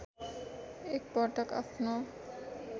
एक पटक आफ्नो